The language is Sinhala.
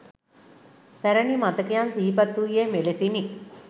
පැරණි මතකයන් සිහිපත් වූයේ මෙලෙසිනි